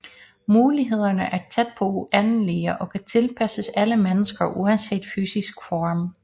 Mulighederne er tæt på uendelige og kan tilpasses alle mennesker uanset fysiske form